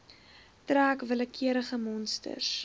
trek willekeurige monsters